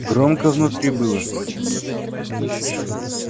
громко внутри было наверное